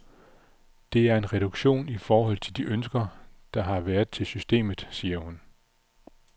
Det er en reduktion i forhold til de ønsker, der har været til systemet, siger hun.